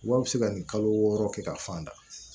Wa a bɛ se ka nin kalo wɔɔrɔ kɛ ka fan da